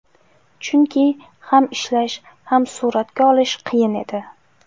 Chunki ham ishlash, ham suratga olish qiyin edi.